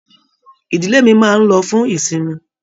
Ìdílé mí máa n lọ fún ìsinmi